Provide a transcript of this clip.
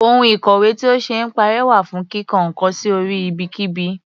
Ohun ìkọ̀wé tí ò ṣee parẹ́ wà fún kíko nǹkan sí orí ibikíbi.